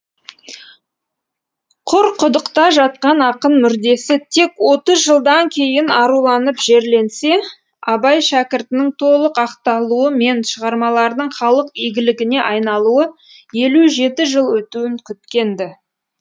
құрқұдықта жатқан ақын мүрдесі тек отыз жылдан кейін аруланып жерленсе абай шәкіртінің толық ақталуы мен шығармаларының халық игілігіне айналуы елу жеті жыл өтуін күткен ді